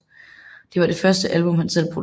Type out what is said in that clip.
Det var det første album han selv producerede